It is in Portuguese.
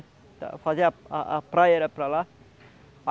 A a praia era para lá.